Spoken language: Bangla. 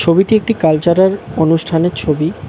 ছবিটি একটি কালচারার অনুষ্ঠানের ছবি।